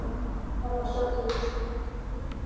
Svo við verðum að sjá til.